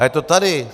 A je to tady.